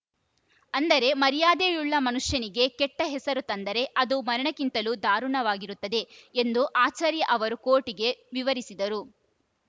ಅಂದರೆ ಮರ್ಯಾದೆಯುಳ್ಳ ಮನುಷ್ಯನಿಗೆ ಕೆಟ್ಟಹೆಸರು ತಂದರೆ ಅದು ಮರಣಕ್ಕಿಂತಲೂ ದಾರುಣವಾಗಿರುತ್ತದೆ ಎಂದು ಆಚಾರ್ಯ ಅವರು ಕೋರ್ಟ್‌ಗೆ ವಿವರಿಸಿದರು